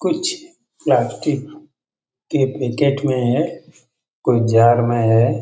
कुछ प्लास्टिक एक बेकेट में है कोई जाड़ में है।